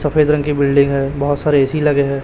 सफेद रंग की बिल्डिंग है बहुत सारे ए_सी लगे है।